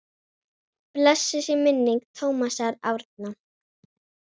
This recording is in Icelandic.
Blessuð sé minning Tómasar Árna.